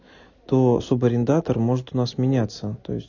то субарендатор может у нас меняться то есть